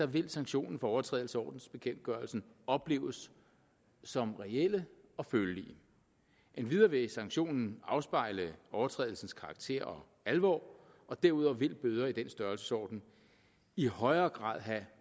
vil sanktionerne for overtrædelse af ordensbekendtgørelsen opleves som reelle og følelige endvidere vil sanktionerne afspejle overtrædelsens karakter og alvor og derudover vil bøder i den størrelsesorden i højere grad have